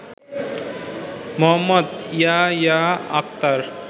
Md Yahya Akhtar